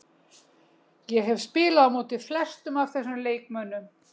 Ég hef spilað á móti flestum af þessum leikmönnum.